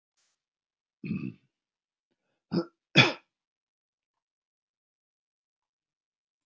Það var mikil vinna sem lá að baki einni verðlagsskrá ekki síst hjá hreppstjórunum.